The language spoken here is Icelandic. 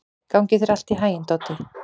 Gangi þér allt í haginn, Doddi.